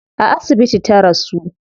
A asibiti ta rasu